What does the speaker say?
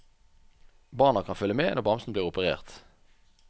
Barna kan følge med når bamsen blir operert.